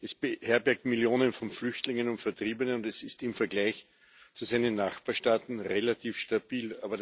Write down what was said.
Es beherbergt Millionen von Flüchtlingen und Vertriebenen, und es ist im Vergleich zu seinen Nachbarstaaten relativ stabil.